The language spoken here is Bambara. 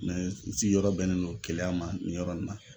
n sigiyɔrɔ bɛnnen don keleya ma nin yɔrɔ in na.